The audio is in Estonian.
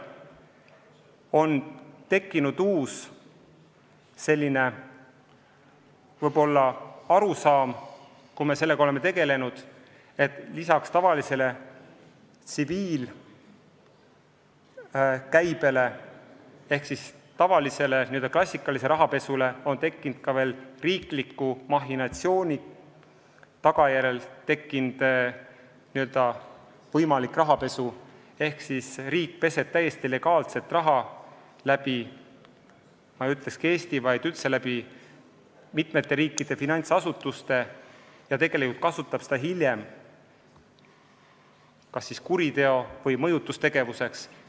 On tekkinud uus arusaam, et lisaks tavalisele tsiviilkäibele ehk siis tavalisele, n-ö klassikalisele rahapesule on nüüd olemas ka riigi mahhinatsiooni tagajärjel tekkinud rahapesu: riik peseb täiesti legaalset raha läbi – ma ei ütle, et ka Eesti, vaid üldse – läbi mitmete riikide finantsasutuste ja seda kasutatakse hiljem kas siis kuriteoks või mõjutustegevuseks.